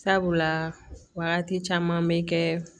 Sabula wagati caman bɛ kɛ